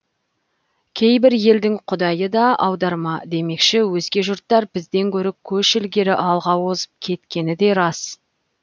кейбір елдің құдайы да аударма демекші өзге жұрттар бізден гөрі көш ілгері алға озып кеткені де рас